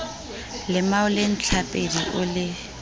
lemao le ntlhapedi o le